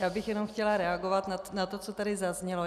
Já bych jenom chtěla reagovat na to, co tady zaznělo.